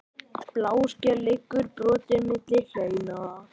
Bláskel liggur brotin milli hleina.